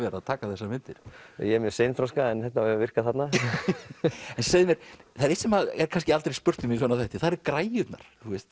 að taka þessar myndir ég er mjög seinþroska en þetta hefur virkað þarna segðu mér það er eitt sem er kannski aldrei spurt um í svona þætti það eru græjurnar